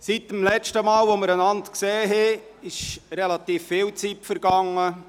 Es ist relativ viel Zeit vergangen, seit wir uns das letzte Mal gesehen haben.